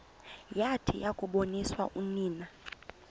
yathi yakuboniswa unina